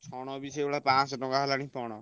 ଛଣ ବି ସେଇଭଳିଆ ପାଂଶହ ଟଙ୍କା ହେଲାଣି ପଣ।